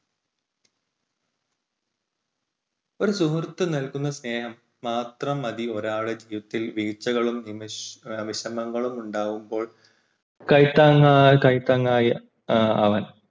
ഒരു സുഹൃത്ത് നൽകുന്ന സ്നേഹം മാത്രം മതി ഒരാളുടെ ജീവിതത്തിൽ വീഴ്ചകളും വിഷമങ്ങളും ഉണ്ടാകുമ്പോൾ കൈത്താങ്ങ് കൈത്താങ്ങായി അവൻ